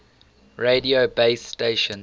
radio base stations